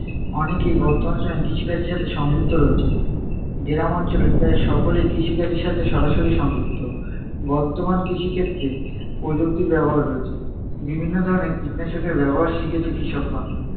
অনেকেই বর্তমান সময়ে কৃষিকাজের সাথে সংযুক্ত রয়েছে। গ্রাম অঞ্চলের প্রায় সকলেই কৃষিকাজের সাথে সরাসরি সংযুক্ত। বর্তমান কৃষিক্ষেত্রে প্রযুক্তির ব্যবহার রয়েছে। বিভিন্ন ধরনের কীটনাশকরে ব্যবহার শিখেছে কৃষকগণ।